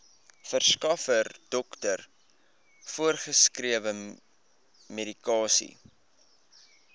verskaffer dokter voorgeskrewemedikasie